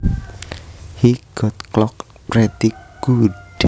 He got clocked pretty good